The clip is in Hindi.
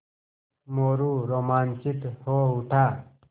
मोरू रोमांचित हो उठा